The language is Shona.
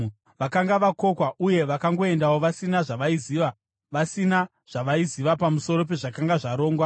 Vakanga vakokwa uye vakangoendawo vasina zvavaiziva, vasina zvavaiziva pamusoro pezvakanga zvarongwa.